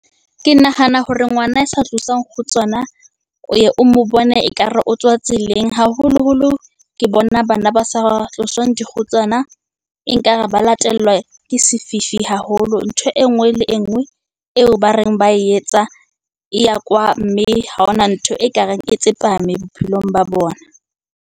Ke nahana hore ngwana a sa tloswang kgutsana o ye o mo bone ekare o tswa tseleng. Haholoholo ke bona bana ba sa tloswang dikgutsana enkare ba latelwa ke sefifi haholo. Ntho e nngwe le e nngwe eo ba reng ba e etsa, e ya kwaa. Mme ha hona ntho ekareng e tsepame bophelong ba bona.